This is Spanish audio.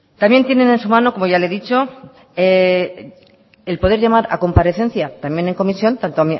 también tienen en su mano como ya le he dicho el poder llamar a comparecencia también en comisión tanto